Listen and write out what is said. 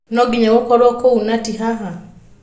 No nginya gũkoro kũũ na ti haha?